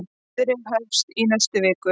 Niðurrif hefst í næstu viku.